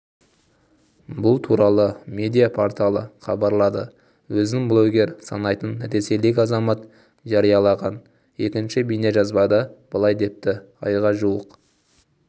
бұл туралы медиа-порталы хабарлады өзін блогер санайтын ресейлік азамат жариялаған екінші бейнежазбада былай депті айға жуық